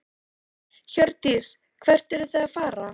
Hjördís: Hvert eruð þið að fara?